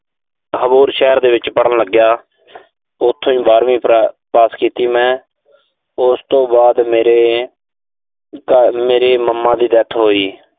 ਅਬੋਹਰ ਸ਼ਹਿਰ ਦੇ ਵਿੱਚ ਪੜ੍ਹਨ ਲੱਗਿਆ। ਉਥੋਂ ਬਾਰਵੀਂ ਪਾਸ ਕੀਤੀ ਮੈਂ। ਉਸ ਤੋਂ ਬਾਅਦ ਮੇਰੇ ਅਹ ਮੇਰੇ mama ਦੀ death ਹੋਈ।